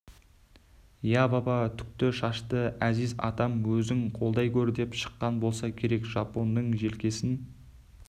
иә баба түкті шашты әзиз атам өзің қолдай көр деп шыққан болса керек жапонның желкесін